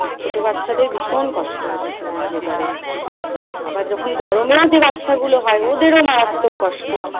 ছোট বাচ্চাদের ভীষন কষ্ট হচ্ছে এই weather এ। আবার যখন গরম লাগছে ওদেরও মারাত্মক কষ্ট।